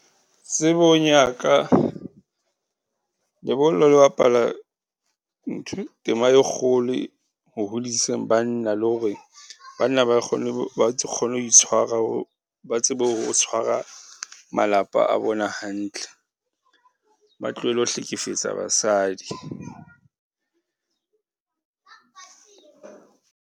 Tsebong ya ka lebollo le bapala tema e kgolo ho hodiseng banna le hore banna ba kgone ho itshwara, ba tsebe ho tshwara malapa a bona hantle. Ba tlohele ho hlekefetsa basadi.